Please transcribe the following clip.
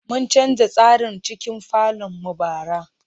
Mun canza tsarin cikin falon mu bara.